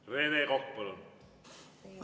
Rene Kokk, palun!